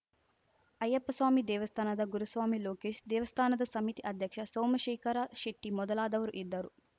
ಅಯ್ಯಪ್ಪಸ್ವಾಮಿ ದೇವಸ್ಥಾನದ ಗುರುಸ್ವಾಮಿ ಲೋಕೇಶ್‌ ದೇವಸ್ಥಾನದ ಸಮಿತಿ ಅಧ್ಯಕ್ಷ ಸೋಮಶೇಖರ ಶೆಟ್ಟಿಮೊದಲಾದವರು ಇದ್ದರು